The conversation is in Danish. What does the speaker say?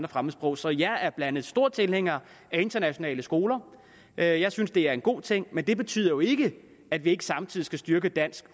fremmedsprog så jeg er blandt andet stor tilhænger af internationale skoler jeg jeg synes det er en god ting men det betyder jo ikke at vi ikke samtidig skal styrke dansk